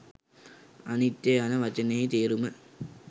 අනිත්‍ය යන වචනයෙහි තේරුම